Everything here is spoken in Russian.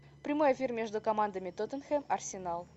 прямой эфир между командами тоттенхэм арсенал